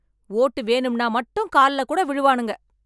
ஓட்டு வேணும்னா மட்டும் கால்லக் கூட விழுவானுங்க.